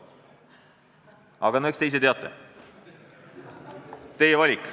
Aga eks te ise teate, teie valik.